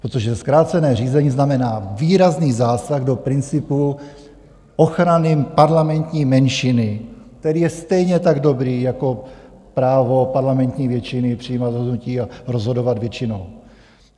Protože zkrácené řízení znamená výrazný zásah do principu ochrany parlamentní menšiny, který je stejně tak dobrý jako právo parlamentní většiny přijímat rozhodnutí a rozhodovat většinou.